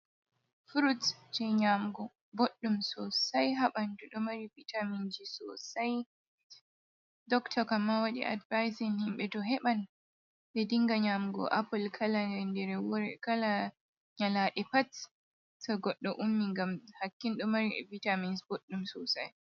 Frut je nyamgo boddum sosai habandu do mari vitaminji sosai ,doctor kamma wadi advisin himbe to heban de dinga nyamgo apple kala nyalade wore kala nyalade pat ta goddo ummi gam hakkindo mari e vitamins boɗdum sosai.